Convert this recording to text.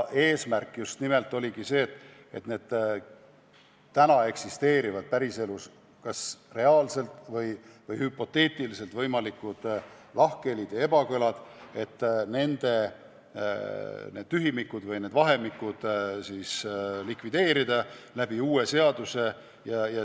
Eesmärk just nimelt oligi see, et päris elus kas reaalselt eksisteerivad või hüpoteetiliselt esinevad võimalikud lahkhelid ja ebakõlad likvideerida, et need tühimikud uue seaduse abil täita.